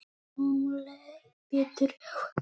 Honum leið betur á eftir.